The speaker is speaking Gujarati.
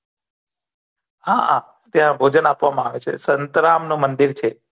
હા ત્યા ભોજણ આપવામા આવે છે સંત્રામ નુ મંદીર છે